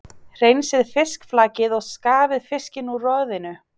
Hreinsið fiskflakið og skafið fiskinn úr roðinu.